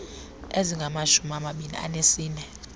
ezingamashumi amabini anesine